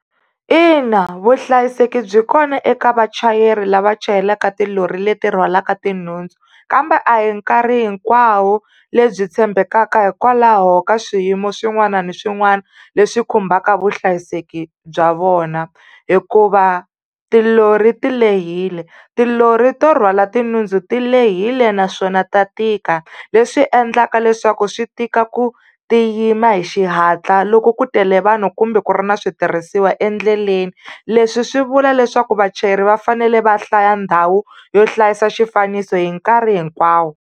Ina vuhlayiseki byi kona eka vachayeri lava chayelaka tilori leti rhwalaka tinhundzu, kambe a hi nkarhi hinkwawo lebyi tshembekaka hikwalaho ka swiyimo swin'wana na swin'wana leswi khumbaka vuhlayiseki bya vona. Hikuva tilori ti lehile, tilori to rhwala tinhundzu ti lehile naswona ta tika leswi endlaka leswaku swi tika ku ti yima hi xihatla loko ku tele vanhu kumbe ku ri ni switirhisiwa endleleni. Leswi swi vula leswaku vachayeri va fanele va hlaya ndhawu yo hlayisa xifaniso hi nkarhi hinkwawo.